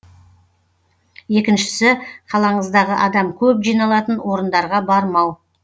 екіншісі қалаңыздағы адам көп жиналатын орындарға бармау